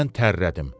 Mən tərrədim.